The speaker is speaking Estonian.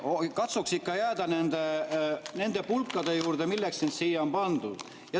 Katsuks ikka jääda nende pulkade juurde, milleks sind siia on pandud.